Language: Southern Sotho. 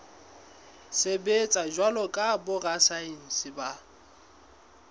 sebetsa jwalo ka borasaense ba